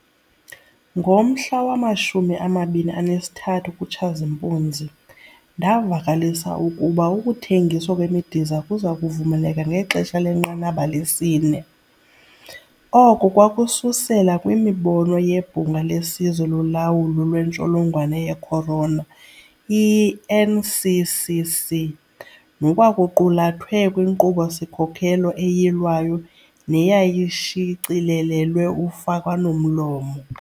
Ngomhla wama-23 kuTshazimpuzi, ndavakalisa ukuba ukuthengiswa kwemidiza kuza kuvumeleka ngexesha lenqanaba lesi-4. Oko kwakususela kwimibono yeBhunga leSizwe loLawulo lweNtsholongwane ye-Corona, i-NCCC, nokwakuqulathwe kwinkqubo-sikhokelo eyilwayo neyayishicilelelwe ufakwano-mlomo.